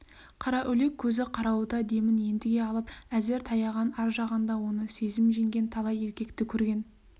қараүлек көзі қарауыта демін ентіге алып әзер таяған ар жағында оны сезім жеңген талай еркекті көрген